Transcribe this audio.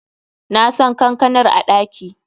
Nasan kankanar a ɗaki.